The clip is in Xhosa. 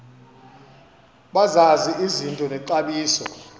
bazazi izinto nexabiso